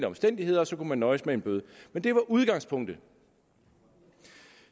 omstændigheder og så kunne de nøjes med en bøde det var udgangspunktet